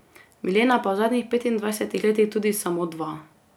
Milena pa v zadnjih petindvajsetih letih tudi samo dva ...